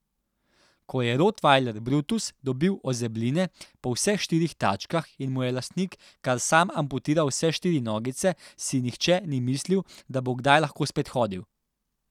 Ko je rotvajler Brutus dobil ozebline po vseh štirih tačkah in mu je lastnik kar sam amputiral vse štiri nogice, si nihče ni mislil, da bo kdaj lahko spet hodil.